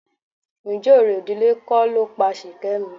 Ǹjẹ́ orò ìdílé kọ́ ló pa Ṣìkẹ́mi?